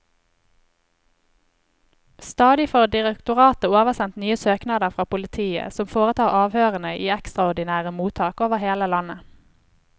Stadig får direktoratet oversendt nye søknader fra politiet, som foretar avhørene i ekstraordinære mottak over hele landet.